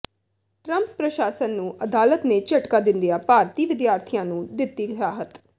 Trump ਪ੍ਰਸ਼ਾਸਨ ਨੂੰ ਅਦਾਲਤ ਨੇ ਝਟਕਾ ਦਿੰਦਿਆਂ ਭਾਰਤੀ ਵਿਦਿਆਰਥੀਆਂ ਨੂੰ ਦਿੱਤੀ ਰਾਹਤ